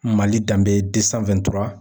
Mali danbe de san